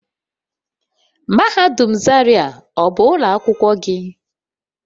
Mahadum zaria ọ bụ ụlọ akwụkwọ gị?